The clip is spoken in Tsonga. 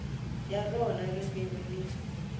ya rona ririmi ni